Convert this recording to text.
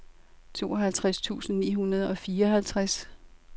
tooghalvtreds tusind ni hundrede og fireoghalvtreds